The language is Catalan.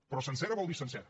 però sencera vol dir sencera